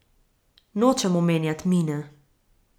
Nočem omenjat Mine.